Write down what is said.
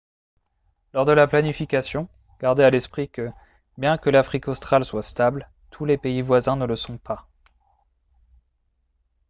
lors de la planification gardez à l'esprit que bien que l'afrique australe soit stable tous les pays voisins ne le sont pas